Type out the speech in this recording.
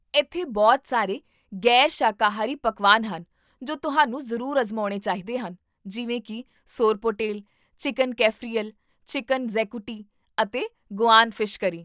ਇੱਥੇ ਬਹੁਤ ਸਾਰੇ ਗ਼ੈਰ ਸ਼ਾਕਾਹਾਰੀ ਪਕਵਾਨ ਹਨ ਜੋ ਤੁਹਾਨੂੰ ਜ਼ਰੂਰ ਅਜ਼ਮਾਉਣੇ ਚਾਹੀਦੇ ਹਨ ਜਿਵੇਂ ਕਿ ਸੋਰਪੋਟੇਲ, ਚਿਕਨ ਕੈਫਰੀਅਲ, ਚਿਕਨ ਜ਼ੈਕੂਟੀ, ਅਤੇ ਗੋਆਨ ਫਿਸ਼ ਕਰੀ